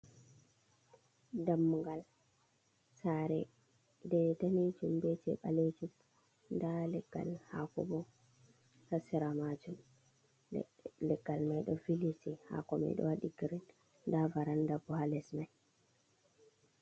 Dammugal sare je danijum be je balejum da leggal hako bo ha sera majun, leggal mai do viliti hako mai ɗo waɗi grin nda varanda bo ha les mai.